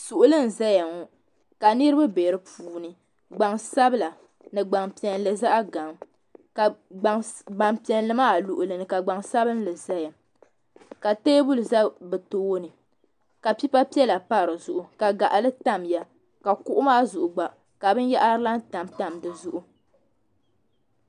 Suɣuli n zaya ŋɔ ka niriba be dipuuni gbansabila ni gbampiɛlli zaɣa gaŋa ka gbampiɛlli maa luɣuli ni gbansabili zaya ka teebuli za bɛ tooni ka pipa piɛla pa dizuɣu ka gaɣali tamya ka kuɣu maa zuɣu gba ka binyahari laha tamtam dizuɣu.